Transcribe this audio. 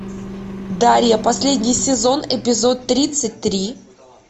дарья последний сезон эпизод тридцать три